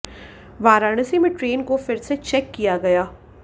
वाराणसी में ट्रेन को फिर से चेक किया गया